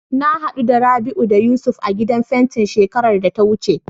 Na haɗu da Rabi'u da Yusuf a gidan fentin shekarar da ta wuce.